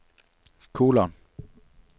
kolon